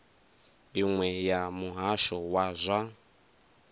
iṅwe ya muhasho wa zwa